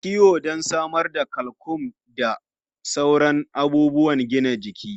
An san kayan abinci na kiwo don samar da calcium da sauran abubuwan gina jiki.